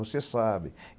Você sabe.